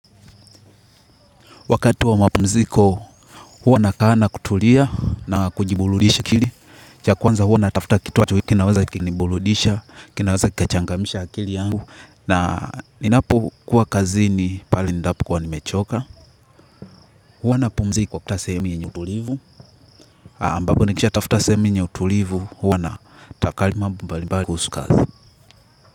Wakati wa mapumziko, huwa nakaa na kutulia na kujiburudisha akili. Cha kwanza huwa natafta kitu inacho, kinaweza kuniburudisha, kinaweza kikachangamsha akili yangu. Na ninapokuwa kazini pale endapo kuwa nimechoka. Huwa na pumziko katika sehemu yenye utulivu. Ambako nikishatafta sehemu yenye utulivu, huwa natafakari mambo mbalimbali kuhusu kazi.